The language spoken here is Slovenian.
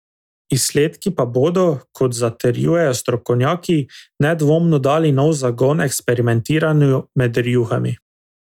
Izsledki pa bodo, kot zatrjujejo strokovnjaki, nedvomno dali nov zagon eksperimentiranju med rjuhami.